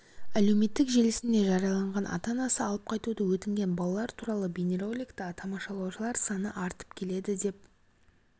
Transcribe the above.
әлеуметтік желісінде жарияланған ата-анасы алып қайтуды өтінген балалар туралы бейне роликті тамашалаушылар саны артып келеді деп